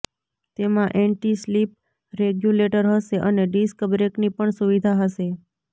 તેમાં anti slip regulator હશે અને ડિસ્ક બ્રેકની પણ સુવિધા હશે